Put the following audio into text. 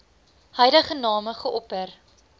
huidige name geopper